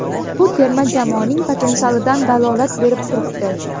Bu terma jamoaning potensialidan dalolat berib turibdi.